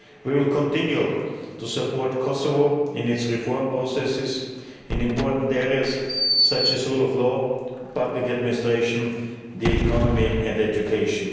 We will continue to support Kosovo in its reform processes in important areas such as the rule of law, public administration, the economy and education.